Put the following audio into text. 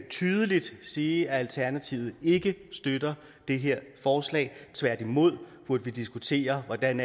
tydeligt sige at alternativet ikke støtter det her forslag tværtimod burde vi diskutere hvordan